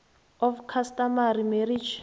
of customary marriage